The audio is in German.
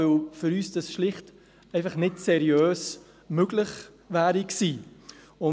Das wäre für uns schlicht nicht auf seriöse Weise möglich gewesen.